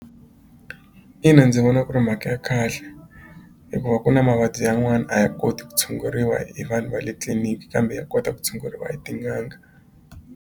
Ina ndzi vona ku ri mhaka ya kahle hikuva ku na mavabyi yan'wana a ha koti ku tshunguriwa hi vanhu va le tliliniki kambe ya kota ku tshunguriwa hi tin'anga.